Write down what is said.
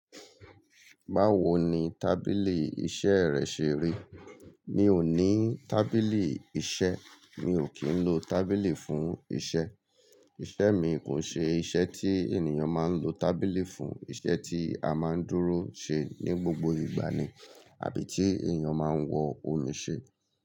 Báwo ni tábìlì iṣẹ́ rẹ ṣe rí? Mi ò ní tábìlì iṣẹ́. Mi ò kí ń lo tábìlì fún iṣẹ́. Iṣẹ́ mi kò ṣe iṣẹ́ tí ènìyàn máa ń lo tábìlì fún. Iṣẹ́ tí a máa ń dúró ṣe ní gbogbo ìgbà ni, àbí tí ènìyàn máa ń wọ òní ṣe.